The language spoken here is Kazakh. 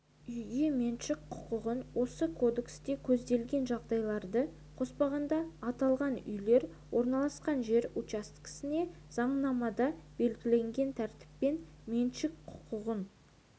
үйге меншік құқығы осы кодексте көзделген жағдайларды қоспағанда аталған үйлер орналасқан жер учаскесіне заңнамада белгіленген тәртіппен меншік құқығын